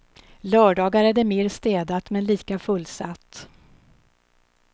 Lördagar är det mer städat men lika fullsatt.